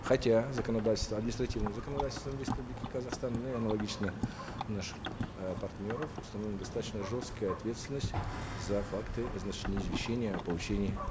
хотя законодательством административным законодательством республики казахстан ну и аналогично наших э партнеров установлена достаточно жесткая ответственность за факты значит неизвещения о получении